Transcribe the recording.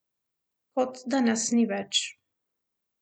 Kot da nas ni več.